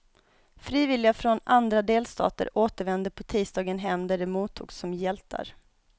Frivilliga från andra delstater återvände på tisdagen hem där de mottogs som hjältar.